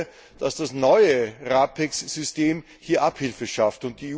Ich hoffe, dass das neue RAPEX System hier Abhilfe schafft.